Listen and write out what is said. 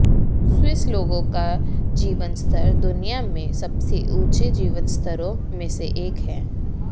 Swiss लोगों का जीवनस्तर दुनिया में सबसे ऊँचे जीवनस्तरों में से एक है